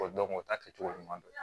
o ta kɛcogo ɲuman don